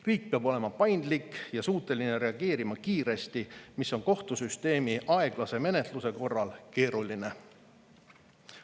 Riik peab olema paindlik ja suuteline reageerima kiiresti, mis on kohtusüsteemi aeglase menetluse korral keeruline.